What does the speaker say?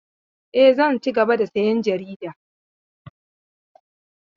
E, zan cigaba da sayan jarida.